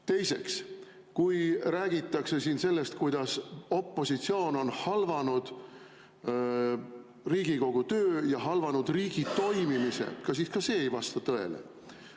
Teiseks, kui räägitakse siin sellest, kuidas opositsioon on halvanud Riigikogu töö ja halvanud riigi toimimise, siis ka see ei vasta tõele.